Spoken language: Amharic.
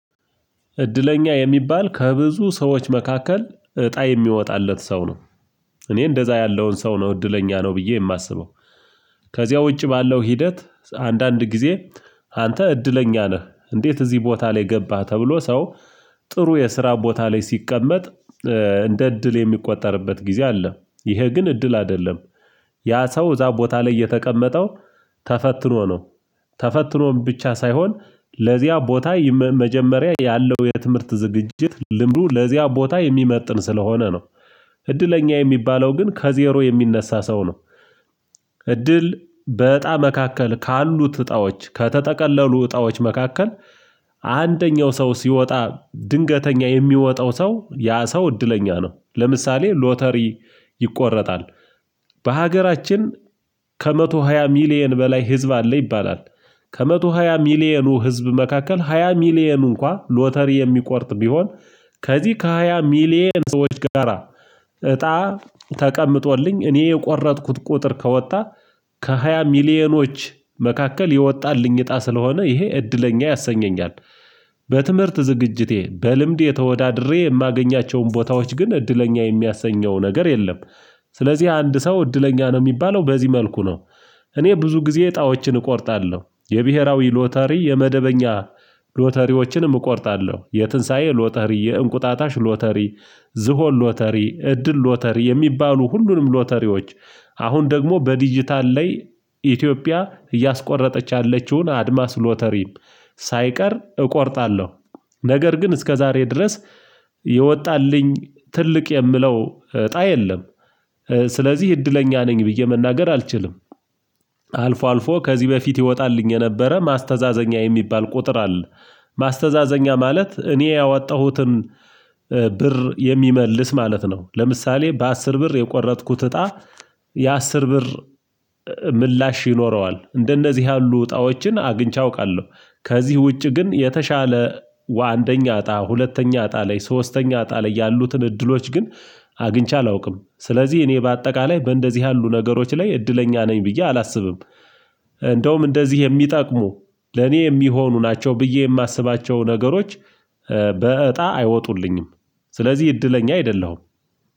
እድለኛ የሚባል ከብዙ ሰዎች መካከል እጣ የሚወጣለት ሰው ነው እኔ እንደዛ ያለውን ሰው ነው እድለኛ ነው ብዬ የማስበው። ከዚያ ውጪ ባለው ሂደት አንዳንድ ጊዜ አንተ እድለኛ ነህ እንዴት እዚህ ቦታ ላይ ገባህ ተብሎ ሰው ጥሩ የስራ ቦታ ላይ ሲቀመጥ እንደ እድል የሚቆጠርበት ጊዜ አለ ይሄ ግን እድል አይደለም። ያ ሰው እዛ ቦታ ላይ የተቀመጠው ተፈትኖ ነው ተፈትኖም ብቻ ሳይሆን ለዚያ ቦታ መጀመሪያ ያለው የትምህርት ዝግጅት ልምዱ ለዚያ ቦታ የሚመጥን ስለሆነ ነው። እድለኛ የሚባለው ግን ከዜሮ የሚነሳ ሰው ነው። እድል በእጣ መካከል ካሉት እጣዎች ከተጠቀለሉ እጣዎች መካከል አንደኛው ሰው ሲወጣ ድንገተኛ የሚወጣው ሰው ያ ሰው እድለኛ ነው ለምሳሌ ሎተሪ ይቆረጣል በሀገራችን ከመቶ ሃያ ሚሊየን በላይ ህዝብ አለ ይባላል ከመቶ ሃያ ሚሊየኑ ህዝብ መካከል ሃያ ሚሊየን እንኳን ሎተሪ የሚቆርጥ ቢሆን ከዚህ ከሃያ ሚሊየን ሰዎች ጋራ እጣ ተቀምጦልኝ እኔ የቆረጥኩት ቁጥር ከወጣ ከሃያ ሚሊዮኖች መካከል የወጣንልኝ አጣ ስለሆነ ይሄ እድለኛ ያሰኘኛል። በትምህርት ዝግጅቴ በልምድ የተወዳድሬ የማገኛቸውን ቦታዎች ግን እድለኛ የሚያሰኘው ነገር የለም። ስለዚህ አንድ ሰው እድለኛ ነው የሚባለው በዚህ መልኩ ነው። እኔ ብዙ ጊዜ እጣዎችን እቆርጣለው የብሄራዊ ሎተሪ የመደበኛ ሎተሪዎችንም እቆርጣለው የትንሳኤ ሎተሪ የእንቁጣጣሽ ሎተሪ ዝሆን ሎተሪ እድል ሎተሪ የሚባሉ ሁሉንም ሎተሪዎች አሁን ደግሞ በዲጂታል ላይ ኢትዮጵያ እያስቆረጠች ያለችውን አድማስ ሎተሪም ሳይቀር እቆርጣለሁ ነገር ግን እስከዛሬ ድረስ የወጣልኝ ትልቅ የምለው እጣ የለም። ስለዚህ እድለኛ ነኝ ብዬ መናገር አልችልም። አልፎ አልፎ ከዚህ በፊት ይወጣልኝ የነበረ ማስተዛዘኛ የሚባል ቁጥር አለ ማስተዛዘኛ ማለት እኔ ያወጣሁትን ብር የሚመልስ ማለት ነው ለምሳሌ በአስር ብር የቆረጥኩት እጣ የአስር ብር ምላሽ ይኖረዋል እንደነዚህ ያሉ አጣኦችን አግኝቼ አውቃለው ከዚህ ውጪ ግን የተሻለ ወአንደኛ እጣ ሁለተኛ እጣ ላይ ሶስተኛ አጣ ላይ ያሉትን እድሎች ግን አግኝቼ አላውቅም ስለዚህ እኔ በአጠቃላይ እንደዚህ ያሉ ነገሮች ላይ እድለኛ ነኝ ብዬ አላስብም። እንደውም እንደዚህ የሚጠቅሙ ለኔ የሚሆኑ ናቸው ብዬ የማስባቸው ነገሮች በእጣ አይወጡልኝም ስለዚህ እድለኛ አይደለሁም።